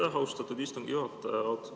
Aitäh, austatud istungi juhataja!